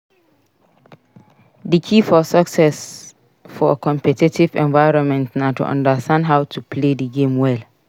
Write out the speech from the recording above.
Di key for success for competitive environments na to understand how to play di game well.